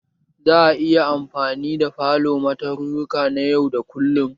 Za a iya anfani da falo ma tarurruka na yau da kullum?